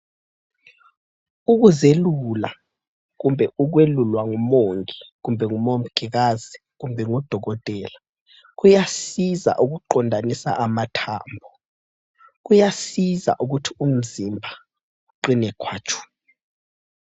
Ukuzelula ,kumbe ukwelulwa ngumongi, kumbe ngumongikazi kumbe ngudokotela kuyasiza ukuqondanisa amathambo, kuyasiza ukuthi umzimba uqine khwatshu.